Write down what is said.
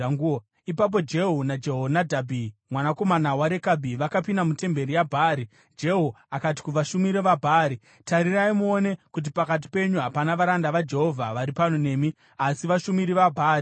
Ipapo Jehu naJehonadhabhi mwanakomana waRekabhi vakapinda mutemberi yaBhaari. Jehu akati kuvashumiri vaBhaari, “Tarirai muone kuti pakati penyu hapana varanda vaJehovha vari pano nemi, asi vashumiri vaBhaari chete.”